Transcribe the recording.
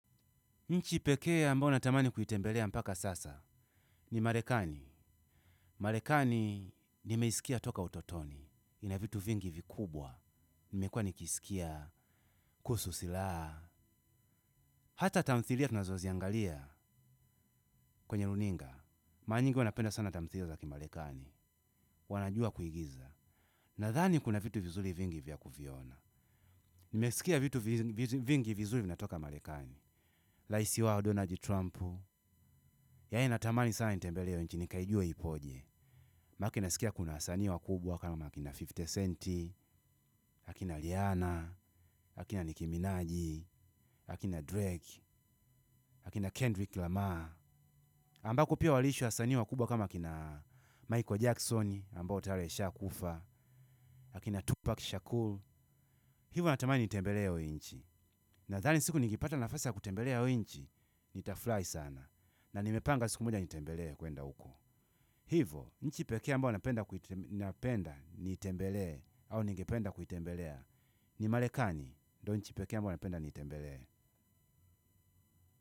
Nchi pekee ambayo natamani kuitembelea mpaka sasa ni Marekani. Marekani nimeisikia toka utotoni. Ina vitu vingi vikubwa. Nimekuwa nikiisikia kuhusu silaha. Hata tamthilia tunazoziangalia kwenye runinga. Mara nyingi huwa napenda sana tamthilia za kimarekani. Wanajua kuigiza. Nadhani kuna vitu vizuri vingi vya kuviona. Nimesikia vitu vingi vizuri vinatoka Marekani. Rais wao Donald Trumpu. Yaani natamani sana nitembelee hiyo nchi nikaijue ipoje. Manake nasikia kuna wasanii wakubwa kama akina hamsini Centi, akina Rihana, akina Niki Minaji, akina Drake, akina Kendrick Lamar. Ambako pia waliishi wasanii wakubwa kama kina Michael Jackson ambao tayari alishakufa, akina Tupac Shakur. Hivo natamani nitembelee hio nchi. Nadhani siku nikipata nafasi ya kutembelea hiyo nchi nitafurahi sana na nimepanga siku moja nitembelee kuenda huko. Hivo, nchi pekee ambao napenda nitembelee au ningependa kuitembelea ni Marekani, ndo nchi pekee ambao napenda nitembelee.